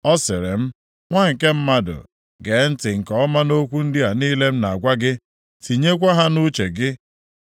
Ọ sịrị m, “Nwa nke mmadụ, gee ntị nke ọma nʼokwu ndị a niile m na-agwa gị, tinyekwa ha nʼuche gị.